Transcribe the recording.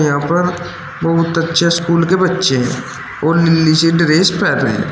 यहां पर बहुत अच्छे स्कूल के बच्चे हैं और नीचे ड्रेस पहने--